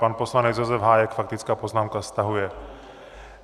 Pan poslanec Josef Hájek, faktická poznámka - stahuje.